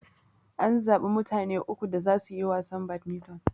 An zaɓa mutane uku da zasu yi wasan badmiton.